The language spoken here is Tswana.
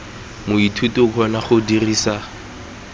moithuti o kgona go dirisa